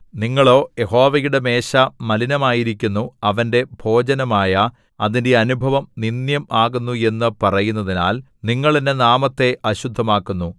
നിങ്ങളോ യഹോവയുടെ മേശ മലിനമായിരിക്കുന്നു അവന്റെ ഭോജനമായ അതിന്റെ അനുഭവം നിന്ദ്യം ആകുന്നു എന്നു പറയുന്നതിനാൽ നിങ്ങൾ എന്റെ നാമത്തെ അശുദ്ധമാക്കുന്നു